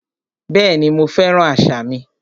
Bẹ́ẹ̀ni, mo fẹ́ràn àṣà mi